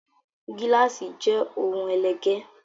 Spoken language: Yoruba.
Gíláàsì jé òun ẹlẹgẹ